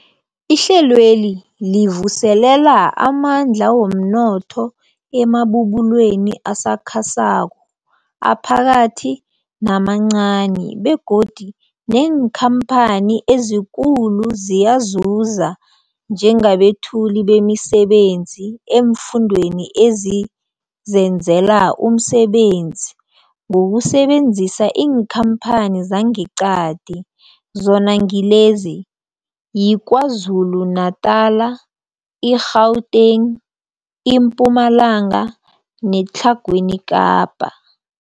Ihlelweli livuselela amandla womnotho emabubulweni asakhasako, aphakathi namancani begodu neenkhamphani ezikulu ziyazuza njengabethuli bemisebenzi eemfundeni ezizenzela umsebenzi ngokusebenzisa iinkhamphani zangeqadi, zona ngilezi, yiKwaZulu-Natala, i-Gauteng, iMpumalanga neTlhagwini Kapa.